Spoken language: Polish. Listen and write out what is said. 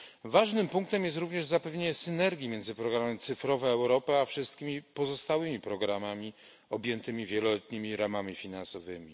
Ważnym punktem jest również zapewnienie synergii między programem Cyfrowa Europa, a wszystkimi pozostałymi programami objętymi wieloletnimi ramami finansowymi.